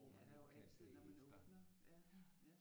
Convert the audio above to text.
Man ikke kan bagefter